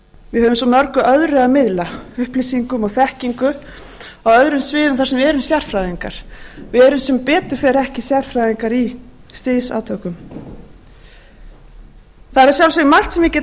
höfum svo mörgu öðru að miðla upplýsingum og þekkingu á öðrum sviðum þar sem við erum sérfræðingar við erum sem betur fer ekki sérfræðingar í stríðsátökum það er að sjálfsögðu margt sem ég get